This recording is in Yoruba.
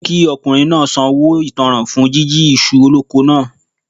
Wọ́n ni kí ọkùnrin náà sanwó ìtánràn fún jíjí iṣu oloko náà.